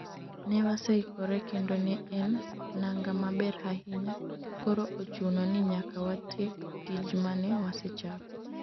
ne waseikore kendo ne en nanga maber ahinya koro ochuno ni nyaka watiek tij mane wasechako